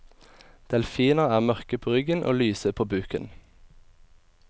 Delfiner er mørke på ryggen og lyse på buken.